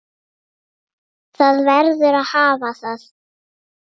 Það verður að hafa það.